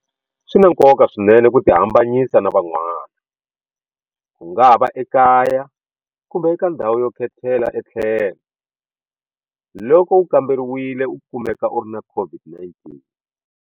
SWI NA NKOKA swinene ku tihambanyisa na van'wana, kungava ekaya kumbe eka ndhawu yo khetela etlhelo, loko u kamberiwile u kumeka u ri na COVID-19.